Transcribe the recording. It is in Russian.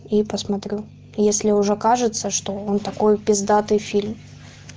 и посмотрю если уже кажется что он такой пиздатый фильм